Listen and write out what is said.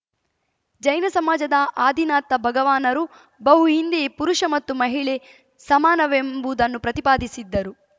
ಜೈನ ಸಮಾಜದ ಆದಿನಾಥ ಭಗವಾನರು ಬಹು ಹಿಂದೆಯೇ ಪುರುಷ ಮತ್ತು ಮಹಿಳೆ ಸಮಾನವೆಂಬುದನ್ನು ಪ್ರತಿಪಾದಿಸಿದ್ದರು